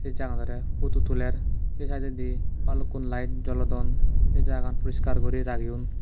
se jaga ganore photo tuler se side edi bhalukkun light jolodon se jaga gan porishkar guri rageyun.